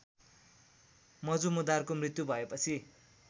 मजुमदारको मृत्यु भएपछि